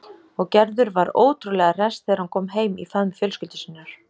Og Gerður var ótrúlega hress þegar hún kom heim í faðm fjölskyldu sinnar.